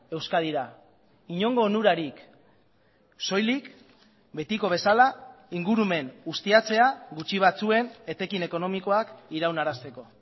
euskadira inongo onurarik soilik betiko bezala ingurumen ustiatzea gutxi batzuen etekin ekonomikoak iraunarazteko